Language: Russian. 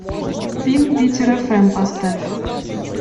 фильм питер фм поставь